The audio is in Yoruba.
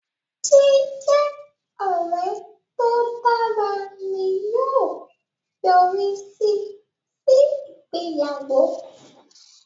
Jíjẹ ọrẹ to dára ni yóò yorisi si ìgbéyàwó